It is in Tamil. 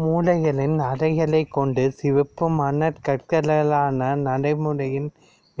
மூலைகளில் அறைகளைக் கொண்ட சிவப்பு மணற்கற்களால் ஆன நடைமேடையின்